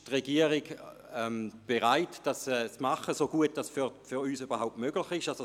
Die Regierung ist bereit, dies umzusetzen, so gut es für uns überhaupt möglich ist.